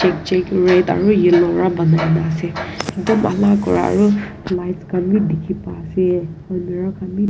kae red aro yellow pra banaina ase etu bana kura aruh light khan bhi dekhe pa ase almeerah khan bhi.